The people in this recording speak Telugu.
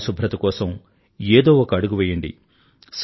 పరిశుభ్రత కోసం ఏదో ఒక అడుగు వెయ్యండి